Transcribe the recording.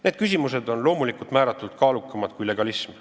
Need küsimused on loomulikult määratult kaalukamad kui legalism.